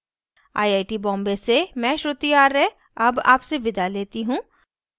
यह स्क्रिप्ट प्रभाकर द्वारा अनुवादित है आई आई टी बॉम्बे से मैं श्रुति आर्य अब आपसे विदा लेती हूँ